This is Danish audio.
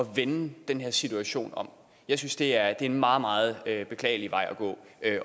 vende den her situation om jeg synes det er en meget meget beklagelig vej at gå